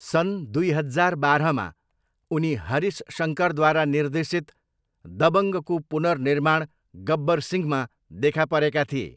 सन् दुई हजार बाह्रमा, उनी हरिश शङ्करद्वारा निर्देशित दबङ्गको पुनर्निर्माण गब्बर सिंहमा देखा परेका थिए।